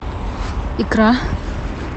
икра